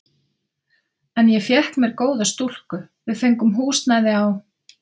En ég fékk með mér góða stúlku, við fengum húsnæði á